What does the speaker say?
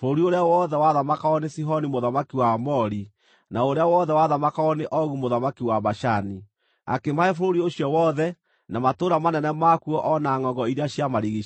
bũrũri ũrĩa wothe wathamakagwo nĩ Sihoni mũthamaki wa Aamori, na ũrĩa wothe wathamakagwo nĩ Ogu mũthamaki wa Bashani, akĩmahe bũrũri ũcio wothe, na matũũra manene makuo o na ngʼongo iria ciamarigiicĩirie.